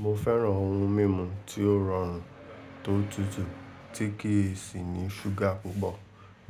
Mo fẹ́ran ohun mímu tí ó rọrùn tó tutù tí kì sì ní ṣúgà púpọ̀